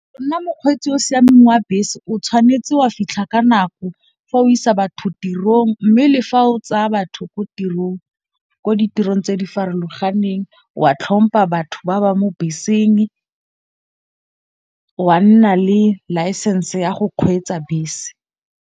Nna mokgweetsi o o siameng wa bese o tshwanetse wa fitlha ka nako fa o isa batho tirong. Mme le fa o tsaya batho ko tirong ko ditirong tse di farologaneng, wa tlhompha batho ba ba mo beseng wa nna le license ya go kgweetsa bese.